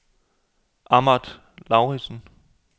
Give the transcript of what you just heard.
Ahmad Lauritsen